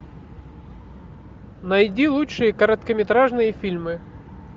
найди лучшие короткометражные фильмы